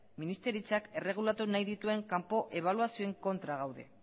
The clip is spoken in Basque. ministeritzak erregulatu nahi dituen kanpo ebaluazioen kontra gaude